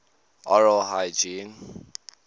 oral hygiene